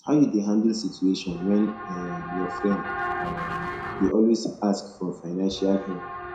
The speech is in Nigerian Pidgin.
how you dey handle situation when um your friend um dey always ask for fiancial help